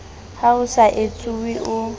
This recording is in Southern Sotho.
ha ho so etsuwe o